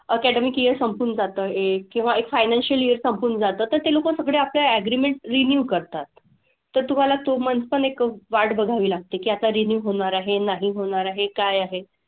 Academic year संपून जातं एक. किंवा एक financial year संपून जातं तर ते लोकं सगळे आपले agreement renew करतात. तर तुम्हाला तो month पण एक वाट बघावी लागत की आता renew होणार आहे, नाही होणार आहे, काय आहे.